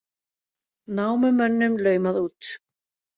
Námumönnum laumað út